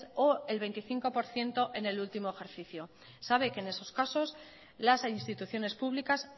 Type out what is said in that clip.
o el veinticinco por ciento en el último ejercicio sabe que en esos casos las instituciones públicas